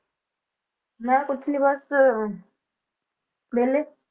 ਮੈਂ ਕੁਛ ਨੀ ਬਸ ਵਿਹਲੀ।